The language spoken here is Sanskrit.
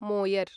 मोयर्